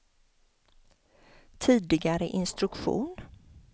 tidigare instruktion